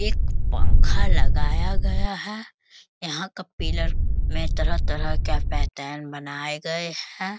एक पंखा लगाया गया है यहां का पिलर में तरह-तरह के पैटर्न बनाये गये हैं।